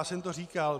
Já jsem to říkal.